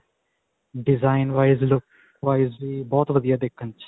design wise, look wise ਵੀ ਬਹੁਤ ਵਧੀਆ ਦੇਖਣ 'ਚ.